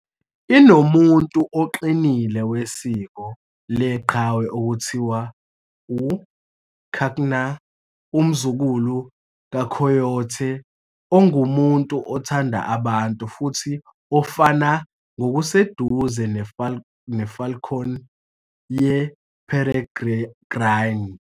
"inomuntu" oqinile wesiko leqhawe okuthiwa u-Kaknu, umzukulu ka-coyote, ongumuntu othanda abantu futhi ofana ngokuseduze nefalcon yeperegrine.